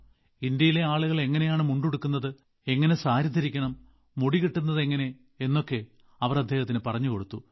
ഇന്ത്യയിലെ ആളുകൾ എങ്ങനെയാണ് മുണ്ട് ഉടുക്കുന്നത് എങ്ങനെ സാരി ധരിക്കണം മുടി കെട്ടുന്നത് എങ്ങനെ എന്നൊക്കെ അവർ അദ്ദേഹത്തിനു പറഞ്ഞുകൊടുത്തു